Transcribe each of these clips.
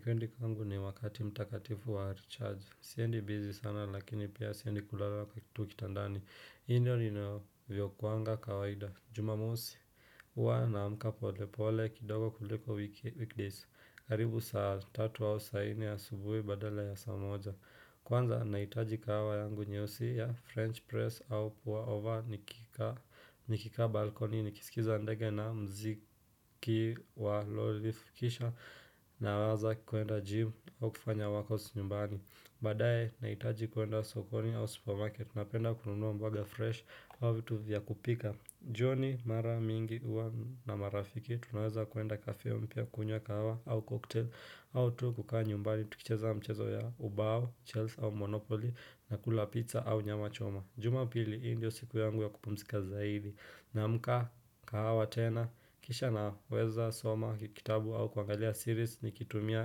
Wikendi kwangu ni wakati mtakatifu wa haricharges. Siendi bizi sana lakini pia siendi kulala tu kitandani. Hii ndio ninavyokuwanga kawaida. Jumamosi. Huwa naamka polepole kidogo kuliko weekdays. Karibu saa tatu au saa nne ya asubuhi badala ya saa moja. Kwanza nahitaji kahawa yangu nyeusi ya French press au puwa ova nikikaa balkoni nikisikiza ndege na muziki wa low leaf kisha naweza kuenda gym au kufanya workouts nyumbani. Baadaye nahitaji kuenda sokoni au supermarket napenda kununua mboga fresh au vitu vya kupika. Jioni mara mingi huwa na marafiki tunaweza kuenda kafio mpya kunywa kahawa au koktel au tu kukaa nyumbani tukicheza mchezo ya ubao, Chels au Monopoly na kula pizza au nyama choma Jumapili hii ndio siku yangu ya kupumzika zaidi naamka kahawa tena Kisha naweza soma kitabu au kuangalia series nikitumia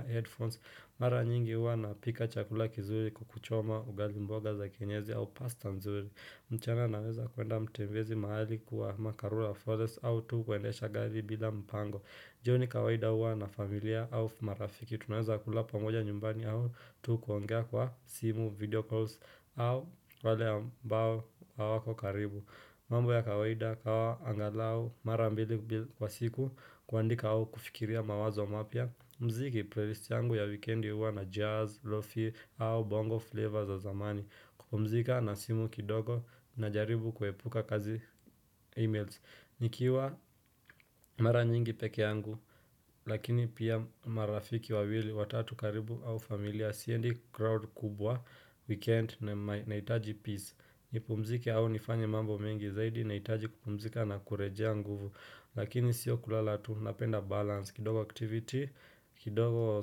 headphones Mara nyingi huwa napika chakula kizuri kuku choma ugali mboga za kienyeji au pasta nzuri mchana naweza kuenda utembezi mahali kwa karura forest au tu kuendesha gari bila mpango. Jioni kawaida huwa na familia au marafiki. Tunaweza kula pamoja nyumbani au tu kuongea kwa simu video calls au wale ambao hawako karibu. Mambo ya kawaida kahawa angalau marambili kwa siku kuandika au kufikiria mawazo mapya. Muziki playlist yangu ya weekendi hua na jazz, lofty au bongo flavor za zamani. Kupumzika na simu kidogo na jaribu kuepuka kazi e-mails nikiwa mara nyingi peke yangu Lakini pia marafiki wawili, watatu karibu au familia Siendi crowd kubwa, weekend nahitaji peace nipumzike au nifanye mambo mengi zaidi nahitaji kupumzika na kurejea nguvu Lakini sio kulala tu napenda balance, kidogo activity, kidogo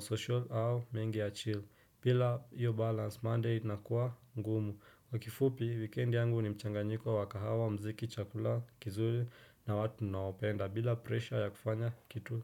social au mengi achill bila iyo balance, monday inakuwa ngumu kwa kifupi, weekend yangu ni mchanganyiko wakahawa muziki chakula kizuri na watu ninaopenda bila pressure ya kufanya kitu.